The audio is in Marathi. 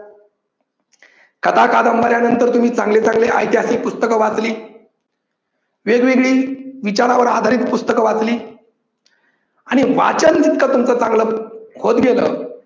कथा कादंबऱ्या नंतर तुम्ही चांगले चांगले ऐतिहासिक पुस्तकं वाचली, वेगवेगळी विचारांवर आधारित पुस्तकं वाचली आणि वाचन जर का तुमचं चांगल होत गेल